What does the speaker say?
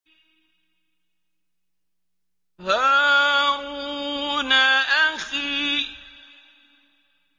هَارُونَ أَخِي